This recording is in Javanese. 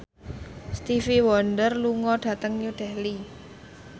Stevie Wonder lunga dhateng New Delhi